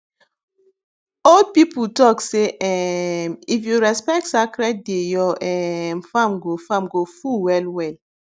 old people talk say um if you respect sacred day your um farm go farm go full well well